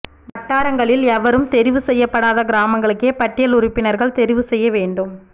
வட்டாரங்களில் எவரும் தெரிவு செய்யப்படாத கிராமங்களுக்கே பட்டியல் உறுப்பினர்கள் தெரிவு செய்ய வேண்டும்